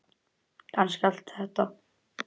Kannski allt þetta.